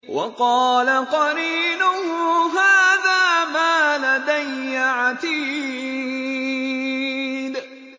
وَقَالَ قَرِينُهُ هَٰذَا مَا لَدَيَّ عَتِيدٌ